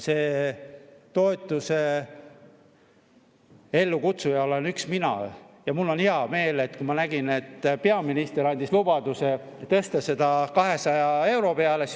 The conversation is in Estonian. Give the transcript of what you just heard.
Selle toetuse üks ellukutsuja olin mina ja mul oli hea meel, kui ma nägin, et peaminister andis lubaduse tõsta see 200 euro peale.